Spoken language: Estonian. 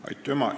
Aitüma!